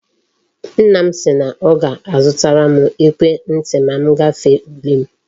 Nna m si na o ga azutaram ekwe nti ma ngafe ule m